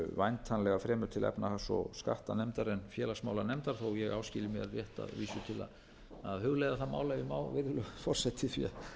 væntanlega fremur til efnahags og skattanefndar en félagsmálanefndar þó ég áskilji mér rétt að vísu til